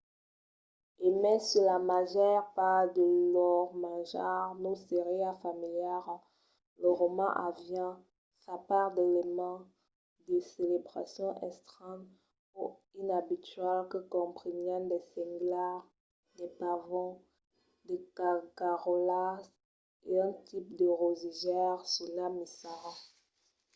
e mai se la màger part de lor manjar nos seriá familiara los romans avián sa part d’elements de celebracion estranhs o inabituals que comprenián de senglars de pavons de cagaraulas e un tipe de rosegaire sonat missara